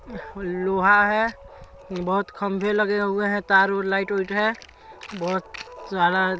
लोहा है बहुत खंबे लगे हुए हैं तार उर लाइट व्हाइट है बहुत --